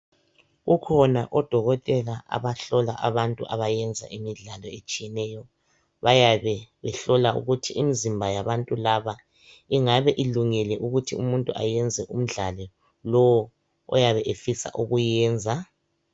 Kukhona odokotela abahlola abantu abayenza imidlalo etshiyeneyo bayabe behlola ukuthi imizimba yabantu laba ingabe ilungile ukuthi umuntu ayenze umdlali lowo oyabe efisa ukuyenza.